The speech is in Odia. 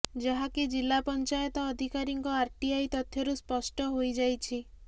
ଯାହାକି ଜିଲ୍ଲା ପଞ୍ଚାୟତ ଅଧିକାରୀଙ୍କ ଆରଟିଆଇ ତଥ୍ୟରୁ ସ୍ପଷ୍ଟ ହୋଇଯାଇଛି